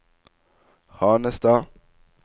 Hanestad